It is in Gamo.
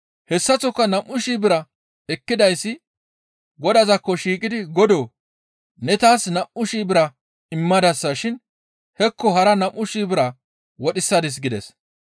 «Hessaththoka nam7u shii bira ekkidayssi godazaakko shiiqidi, ‹Godoo! Ne taas nam7u shii bira immadasa shin hekko hara nam7u shii bira wodhisadis› gides.